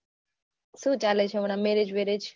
શું ચાલે છે હમણાં marriage બેરેજ